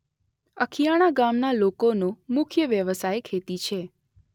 અખીયાણા ગામના લોકોનો મુખ્ય વ્યવસાય ખેતી છે.